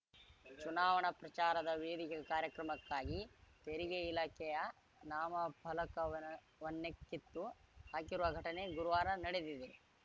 ಚುನಾವಣಾ ಪ್ರಚಾರದ ವೇದಿಕೆ ಕಾರ್ಯಕ್ರಮಕ್ಕಾಗಿ ತೆರಿಗೆ ಇಲಾಖೆಯ ನಾಮಫಲಕವನ್ನೇ ಕಿತ್ತು ಹಾಕಿರುವ ಘಟನೆ ಗುರುವಾರ ನಡೆದಿದೆ